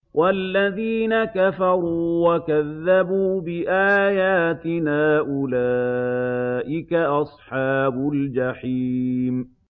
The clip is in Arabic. وَالَّذِينَ كَفَرُوا وَكَذَّبُوا بِآيَاتِنَا أُولَٰئِكَ أَصْحَابُ الْجَحِيمِ